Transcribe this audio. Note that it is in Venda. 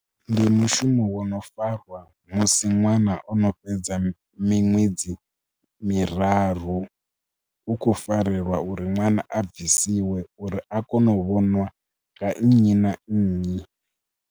Ndi mushumo wo no fariwa musi ṅwana o no fhedza miṅwedzi miraru hu khou farelwa uri ṅwana a bvisiwe uri a kone u vhonwa nga nnyi na nnyi.